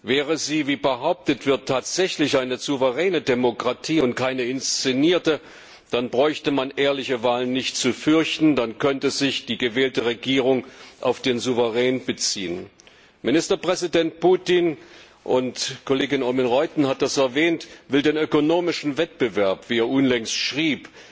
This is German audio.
Wäre sie, wie behauptet wird, tatsächlich eine souveräne Demokratie und keine inszenierte, dann bräuchte man ehrliche Wahlen nicht zu fürchten, dann könnte sich die gewählte Regierung auf den Souverän beziehen. Ministerpräsident Putin, Kollegin Oomen Ruijten hat es erwähnt, will den ökonomischen Wettbewerb, wie er unlängst schrieb,